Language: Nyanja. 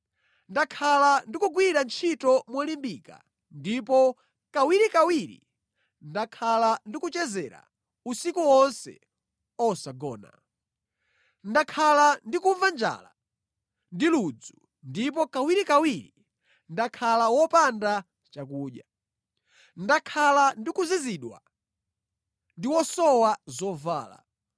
Ndakhala ndikugwira ntchito molimbika ndipo kawirikawiri ndakhala ndikuchezera usiku wonse osagona. Ndakhala ndikumva njala ndi ludzu ndipo kawirikawiri ndakhala wopanda chakudya. Ndakhala ndi kuzizidwa ndi wosowa zovala.